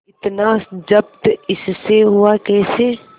इतना जब्त इससे हुआ कैसे